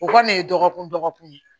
O kɔni ye dɔgɔkun dɔgɔkun ye